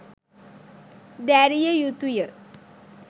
දැරිය යුතු ය.